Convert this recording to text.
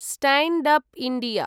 stand up India